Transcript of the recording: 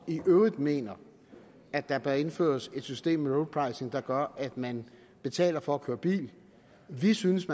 øvrigt mener at der bør indføres et system med road pricing der gør at man betaler for at køre i bil vi synes